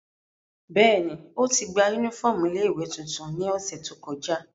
Bẹ́ẹ̀ni, oti gba unifọmú ile-iwe tuntun ni ọsẹ to kọja.